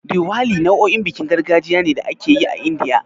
Diwali nau'in bikin gargajiya ne da ake yi a Indiya.